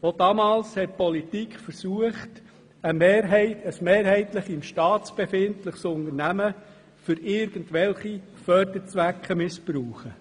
Auch damals hat die Politik versucht, ein mehrheitlich im Staatsbesitz befindliches Unternehmen für irgendwelche Förderzwecke zu missbrauchen.